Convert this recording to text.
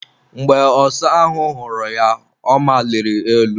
Mgbe ọsa ahụ hụrụ ya, ọ maliri elu.